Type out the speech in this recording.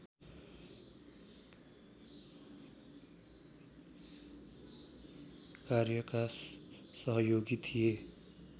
कार्यका सहयोगी थिए